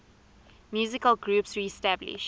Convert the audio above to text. musical groups reestablished